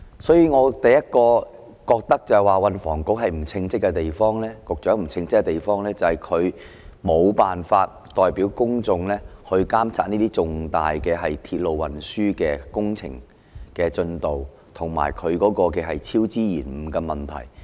所以，我第一個感覺到運房局局長不稱職的地方，便是他沒辦法代表公眾監察這些重大鐵路運輸工程的進度，以及超支延誤的問題。